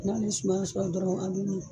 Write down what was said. N'ale suma dɔrɔnw a bɛ min